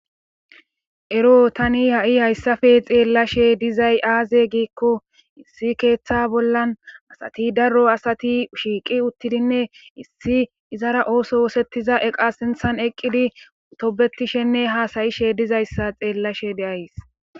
ero tani ha7i hayssafe xeellashe dizay aaze giikko issi keeththa bollan asati daro asati shiiqi uttidinne issi izara ooso woosettiza eqa sinthan eqqidi tobetishenne haasayishe dizayssa xeellashe deays